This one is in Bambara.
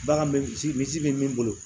Bagan bɛ misi misi bɛ min bolo